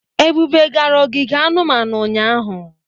Ebube gara ogige anumanu ụnyahụ?